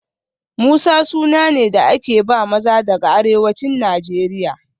Musa suna ne da aka ba maza daga arewacin Najeriya